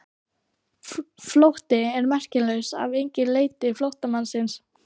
Flótti er merkingarlaus ef enginn leitar flóttamannsins.